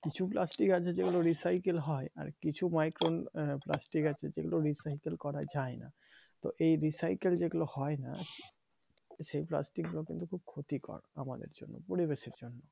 কিছু plastic আছে যেগুলো recycle হয় আর কিছু migraine plastic আছে যে গুলো রিসাইকেল করা যায় না তো এই recycle যেগুলো হয় না সে plastic গুলো কিন্তু খুব ক্ষতিকর আমাদের জন্য পরিবেশের জন্য।